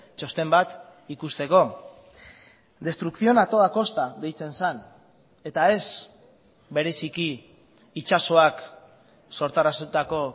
txosten bat ikusteko destrucción a toda costa deitzen zen eta ez bereziki itsasoak sortarazitako